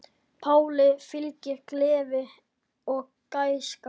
Páli fylgir gleði og gæska.